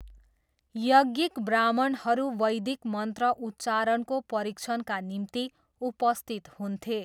यज्ञिक ब्राह्मणहरू वैदिक मन्त्र उच्चारणको परिक्षणका निम्ति उपस्थित हुन्थे।